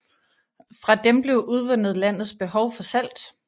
Fra dem blev udvundet landets behov for salt